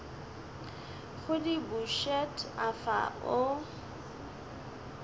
go di bušet afa o